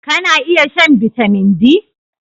Kana iya shan Bitamin D?